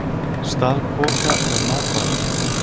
Stal poka með matvælum